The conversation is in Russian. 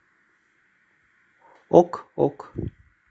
ок ок